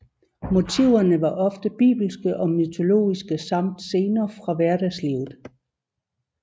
Motiverne var ofte bibelske og mytologiske samt scener fra hverdagslivet